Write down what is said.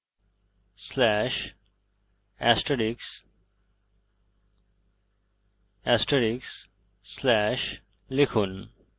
/**/ লিখুন